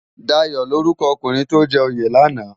Dayo lórúkò òkúnrin tó jè óyé làná?